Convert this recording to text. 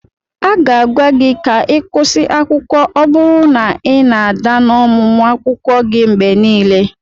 A ga-agwa gị ka ị kwụsị akwụkwọ ọ bụrụ na ị na-ada n'ọmụmụ akwụkwọ gị mgbe niile.